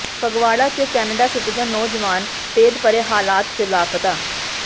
ਫਗਵਾੜਾ ਚ Canada citizen ਨੌਜਵਾਨ ਭੇਦਭਰੇ ਹਾਲਤ ਚ ਲਾਪਤਾ